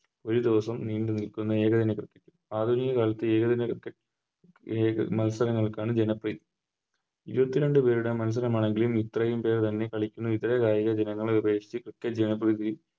ഒരു ദിവസം നീണ്ടു നിൽക്കുന്ന ഏകദിന Cricket ആധുനിക കാലത്ത് ഏകദിന ഏക മത്സരങ്ങൾക്കാണ് ജനപ്രീതി ഇരുപത്തിരണ്ട്‍ പേരുടെ മത്സരമാണെങ്കിലും ഇത്രേം പേര് ഇറങ്ങി കളിക്കുന്ന ഇതര കായികയിനങ്ങൾ അപേക്ഷിച്ച് Cricket ജനപ്രീതിയിൽ